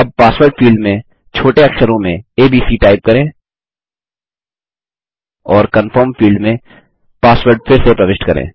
अब password field में छोटे अक्षरों में एबीसी टाइप करें और कनफर्म फील्ड में पासवर्ड फिर से प्रविष्ट करें